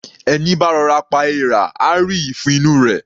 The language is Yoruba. Ẹní bá rọ'ra pa èèrà, á rí ìfun inú u rẹ̀.